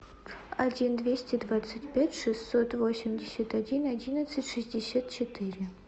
один двести двадцать пять шестьсот восемьдесят один одиннадцать шестьдесят четыре